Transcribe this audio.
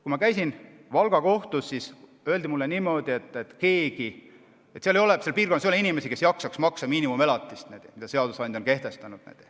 Kui ma käisin Valga kohtus, siis öeldi mulle, et seal piirkonnas ei ole inimesi, kes jaksaks maksta miinimumelatist, mille seadusandja on kehtestanud.